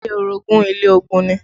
Ilé orogun ilé ogun ni